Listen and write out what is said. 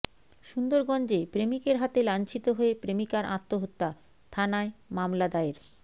সুন্দরগঞ্জে প্রেমিকের হাতে লাঞ্ছিত হয়ে প্রেমিকার আত্মহত্যা থানায় মামলা দায়ের